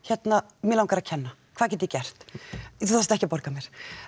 mig langar að kenna hvað get ég gert þú þarft ekki að borga mér